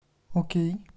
окей